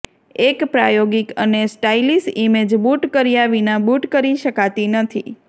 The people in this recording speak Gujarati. એક પ્રાયોગિક અને સ્ટાઇલીશ ઇમેજ બૂટ કર્યા વિના બૂટ કરી શકાતી નથી